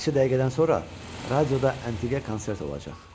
Bir neçə dəqiqədən sonra radioda əntiqə konsert olacaq.